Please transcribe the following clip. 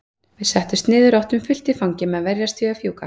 Við settumst niður og áttum fullt í fangi með að verjast því að fjúka.